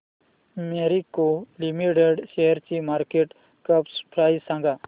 Marico limited शेअरची market cap price सांगा